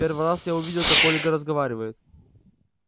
первый раз я увидел как ольга разговаривает